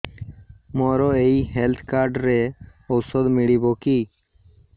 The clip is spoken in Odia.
ମୋର ଏଇ ହେଲ୍ଥ କାର୍ଡ ରେ ଔଷଧ ମିଳିବ କି